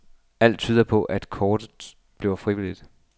Alt tyder på, at kortet bliver frivilligt.